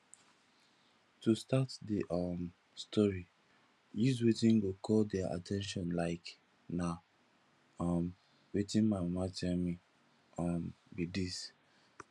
to start di um story use wetin go call their at ten tion like na um wetin my mama tell me um be this